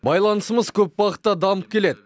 байланысымыз көп бағытта дамып келеді